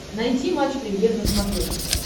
найти матч премьер на смотрешке